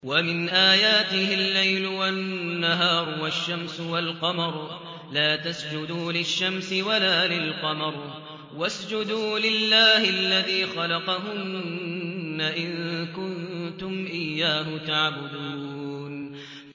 وَمِنْ آيَاتِهِ اللَّيْلُ وَالنَّهَارُ وَالشَّمْسُ وَالْقَمَرُ ۚ لَا تَسْجُدُوا لِلشَّمْسِ وَلَا لِلْقَمَرِ وَاسْجُدُوا لِلَّهِ الَّذِي خَلَقَهُنَّ إِن كُنتُمْ إِيَّاهُ تَعْبُدُونَ